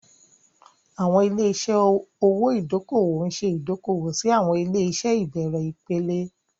Àwọn ilé-iṣẹ́ owó ìdókòwò ń ṣe ìdókòwò sí àwọn ilé-iṣẹ́ ìbẹ̀rẹ̀ ìpele.